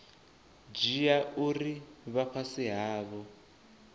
dzhia uri vha fhasi havho